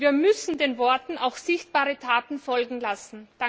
Wir müssen den Worten auch sichtbare Taten folgen lassen!